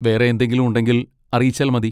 വേറെ എന്തെങ്കിലും ഉണ്ടെങ്കിൽ അറിയിച്ചാൽ മതി.